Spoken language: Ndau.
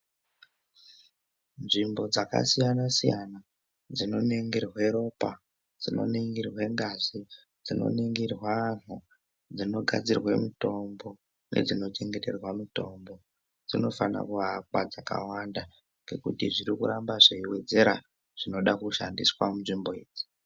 Nzvimbo dzakasiyana siyana dzinoningirwe ropa dzinongwarirwa ngazi Dzinoningirwa antu dzinogadzirwe mutombo nedzinochengeterwe mutombo dzinofana kuakwa dzakawanda ngekuti zviri kuramba zveiwedzera zvinoda kushandiswa munzvimbo idzi.